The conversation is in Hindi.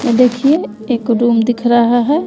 देखिए एक रूम दिख रहा है।